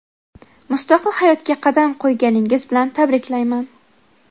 Mustaqil hayotga qadam qo‘yganingiz bilan tabriklayman.